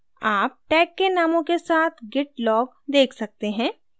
आप tag के नामों के साथ git log tag सकते हैं